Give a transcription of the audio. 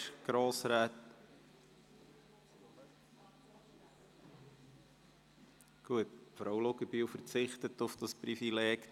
– Nein, Grossrätin Luginbühl verzichtet auf dieses Privileg.